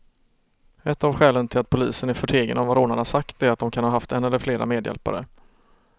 Ett av skälen till att polisen är förtegen om vad rånarna sagt är att de kan ha haft en eller flera medhjälpare.